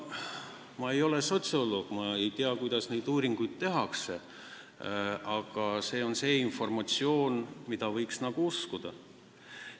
Ma ei ole sotsioloog, ma ei tea, kuidas neid uuringuid tehakse, aga see on informatsioon, mida võiks nagu uskuda.